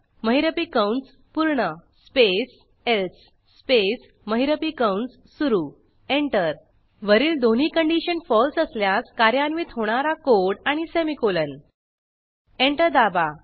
महिरपी कंस पूर्ण स्पेस एल्से स्पेस महिरपी कंस सुरू एंटर वरील दोन्ही कंडिशन फळसे असल्यास कार्यान्वित होणारा कोड आणि सेमीकोलन एंटर दाबा